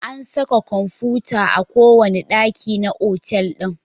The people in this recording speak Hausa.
An saka kwamfuta a kowane ɗaki na otal ɗin.